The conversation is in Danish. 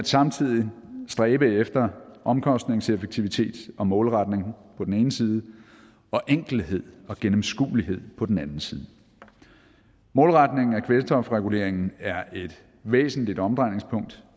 samtidig at stræbe efter omkostningseffektivitet og målretning på den ene side og enkelhed og gennemskuelighed på den anden side målretning af kvælstofreguleringen er et væsentligt omdrejningspunkt